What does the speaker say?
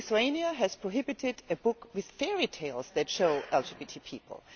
Lithuania has prohibited a book of fairy tales that shows LGBT people.